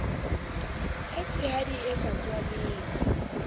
e tshehadi e sa tswaleng